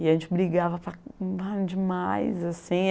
E a gente brigava demais assim.